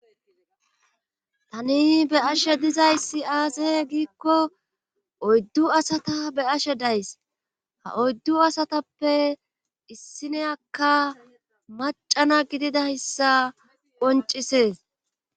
tani be'ashe dizayssi aaze giikko oyddu asata be'ashe days ha oyddu asatappe issiniyakka macana gididayssa qoncisees